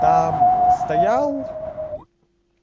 там стоял